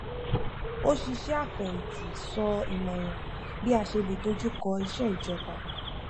oṣìṣẹ afẹyinti sọ ìmọràn bí a ṣe lè dojú kọ iṣe ìjọba